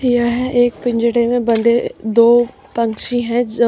यह एक पिंजडे में बंधे दो पंछी है जो--